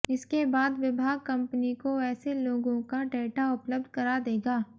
इसके बाद विभाग कंपनी को ऐसे लोगों का डेटा उपलब्ध करा देगा